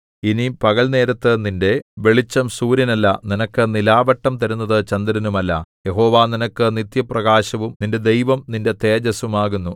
ഇനി പകൽനേരത്ത് നിന്റെ വെളിച്ചം സൂര്യനല്ല നിനക്ക് നിലാവെട്ടം തരുന്നത് ചന്ദ്രനുമല്ല യഹോവ നിനക്ക് നിത്യപ്രകാശവും നിന്റെ ദൈവം നിന്റെ തേജസ്സും ആകുന്നു